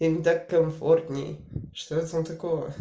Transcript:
им так комфортнее что в этом такого